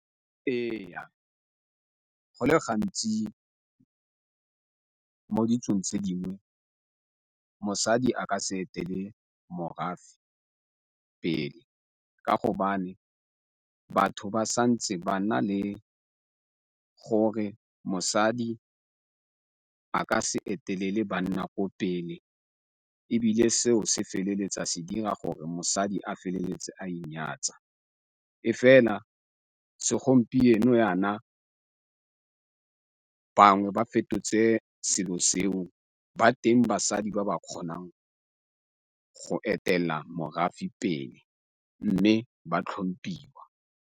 Ee, go le gantsi mo ditsong tse dingwe mosadi a ka se etele morafe pele ka gobane batho ba sa ntse ba na le gore mosadi a ka se etelele banna ko pele, ebile seo se feleletsa se dira gore mosadi a feleletse a inyatsa e fela segompieno yana bangwe ba fetotse selo seo. Ba teng basadi ba ba kgonang go etelela morafe pele mme ba tlhomphiwa.